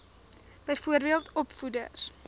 byvoorbeeld opvoeders